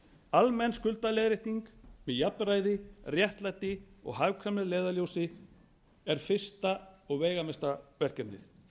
almenn skuldaleiðrétting með jafnræði réttlæti og hagkvæmni að leiðarljósi er fyrsta og veigamesta verkefnið